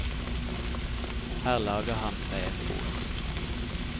Her lager han seg et bol.